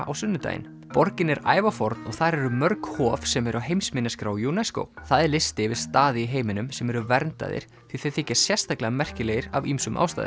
á sunnudaginn borgin er ævaforn og þar eru mörg hof sem eru á heimsminjaskrá UNESCO það er listi yfir staði í heiminum sem eru verndaðir því þeir þykja sérstaklega merkilegir af ýmsum ástæðum